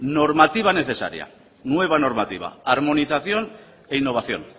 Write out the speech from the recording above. normativa necesaria nueva normativa armonización e innovación